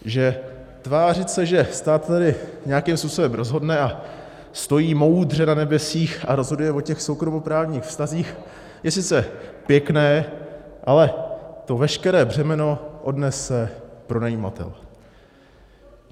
Že tvářit se, že stát tady nějakým způsobem rozhodne a stojí moudře na nebesích a rozhoduje o těch soukromoprávních vztazích, je sice pěkné, ale to veškeré břemeno odnese pronajímatel.